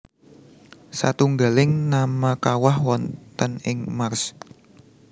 Satunggaling nama kawah wonten ing Mars